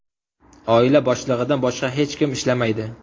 Oila boshlig‘idan boshqa hech kim ishlamaydi.